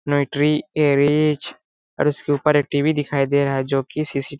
नाइट्री एरीज और उसके ऊपर एक टीवी दिखाई दे रहा है जो की सी सी